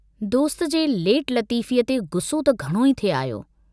दोस्त जे लेट लतीफ़ीअ ते गुस्सो त घणो ई थे आयो।